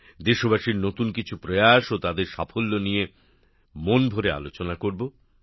দেশবাসীর নতুন কিছু উদ্যোগ ও তাদের সাফল্য নিয়ে মন ভরে আলোচনা করব